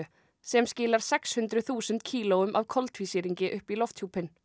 sem skilar sex hundruð þúsund kílóum af koltvísýringi upp í lofthjúpinn